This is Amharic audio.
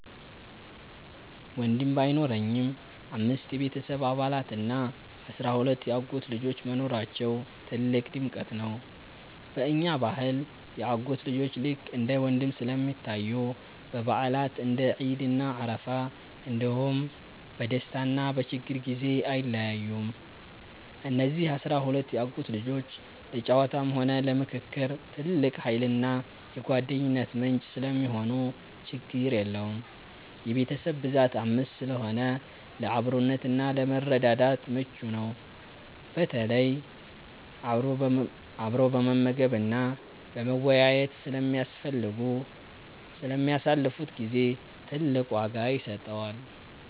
ወንድም ባይኖረኝም፣ አምስት የቤተሰብ አባላት እና አሥራ ሁለት የአጎት ልጆች መኖራቸው ትልቅ ድምቀት ነው። በእኛ ባህል የአጎት ልጆች ልክ እንደ ወንድም ስለሚታዩ፣ በበዓላት (እንደ ዒድ እና አረፋ) እንዲሁም በደስታና በችግር ጊዜ አይለዩም። እነዚህ አሥራ ሁለት የአጎት ልጆች ለጨዋታም ሆነ ለምክክር ትልቅ ኃይልና የጓደኝነት ምንጭ ሰለሚሆኑ ችግር የለውም። የቤተሰብ ብዛት 5 ስለሆነ ለአብሮነትና ለመረዳዳት ምቹ ነው፤ በተለይ አብሮ በመመገብና በመወያየት ለሚያሳልፉት ጊዜ ትልቅ ዋጋ ይሰጠዋል።